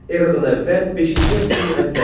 Eradan əvvəl beşinci əsrin əvvəli.